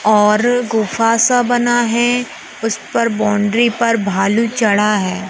और गुफा सा बना है। उस पर बाउंड्री पर भालू चढ़ा है।